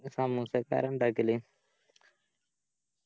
സമൂസൊക്കെ ആരാ ഇണ്ടാക്കല്